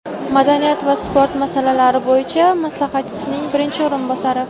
madaniyat va sport masalalari bo‘yicha maslahatchisining birinchi o‘rinbosari.